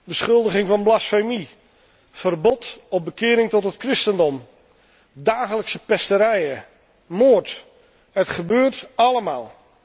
Beschuldiging van blasfemie, verbod op bekering tot het christendom, dagelijkse pesterijen, moord, het gebeurt allemaal.